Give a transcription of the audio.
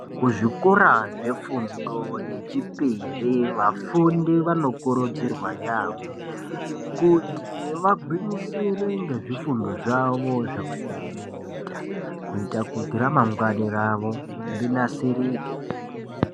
Kuzvikora zvefundo yechipiri vafundi vanokurudzirwa yaambo kuti vagwinyisire ngezvifundo zvavo zvavanenge veiita kuitira kuti ramangwani ravo rinasirike.